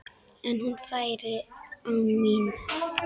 En hún færi án mín.